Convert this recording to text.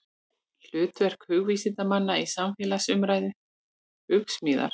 Hlutverk hugvísindamanna í samfélagsumræðu, Hugsmíðar.